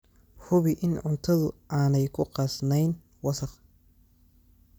Hubi in cuntadu aanay ku qasnayn wasakh.